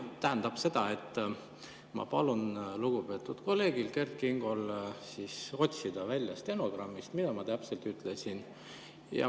Tähendab, ma palun lugupeetud kolleegil Kert Kingol otsida välja stenogrammist, mida ma täpselt ütlesin.